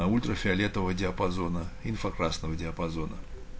а ультрафиолетового диапазона инфракрасного диапазона